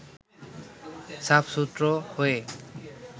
সাফ সুতরো হয়ে